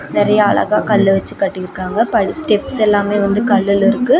நேரிய அழகா கல்லு வெச்சி கட்டிருக்காங்க ஸ்டெப்ஸ் எல்லாமே வந்து கல்லுல இருக்கு.